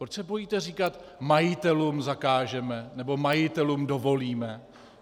Proč se bojíte říkat "majitelům zakážeme nebo majitelům dovolíme"?